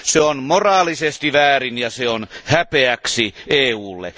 Se on moraalisesti väärin ja se on häpeäksi EUlle.